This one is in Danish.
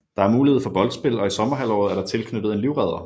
Der er mulighed for boldspil og i sommerhalvåret er der tilknyttet en livredder